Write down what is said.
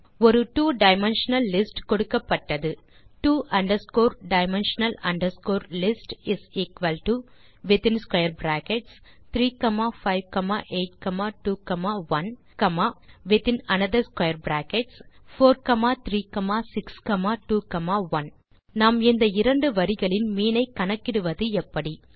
ஒரு two dimensional list கொடுக்கப்பட்டது two dimensional list is equal to within square brackets 35821within another square brackets 43621 நாம் இந்த இரண்டு வரிகளின் மீன் ஐ கணக்கிடுவது எப்படி